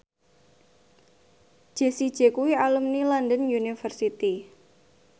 Jessie J kuwi alumni London University